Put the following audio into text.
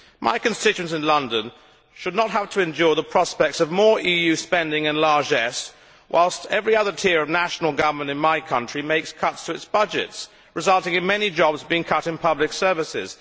My constituents in London should not have to endure the prospects of more EU spending and largesse whilst every other tier of national government in my country makes cuts to its budgets, resulting in many jobs being cut in public services.